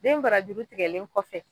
Den bara jru tigɛlen kɔfɛ